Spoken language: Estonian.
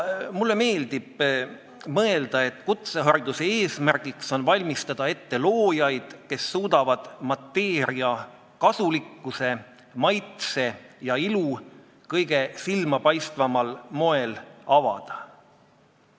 Mulle meeldib mõelda, et kutsehariduse eesmärk on valmistada ette loojaid, kes suudavad mateeria kasulikkuse, maitse ja ilu kõige silmapaistvamal moel avada.